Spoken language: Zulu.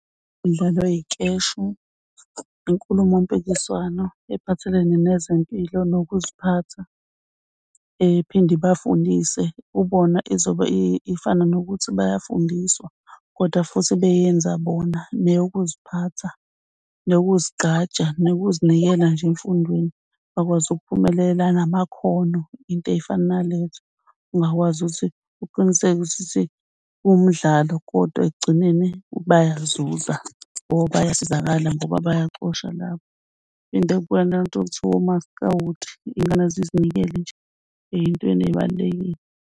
Imidlalo yey'keshi, inkulumo mpikiswano ephathelene nezempilo nokuziphatha ephinde ibafundise kubona izobe ifana nokuthi bayafundiswa kodwa futhi beyenza bona neyokuziphatha nokuzigqaja nokuzinikela nje emfundweni bakwazi ukuphumelela namakhono into ey'fana nalezo. Ungakwazi ukuthi uqinisekise umdlalo kodwa ekugcineni bayazuza or bayasizakala ngoba bayacosha lapho. Ingane zizinikele nje ey'ntweni ey'balulekile.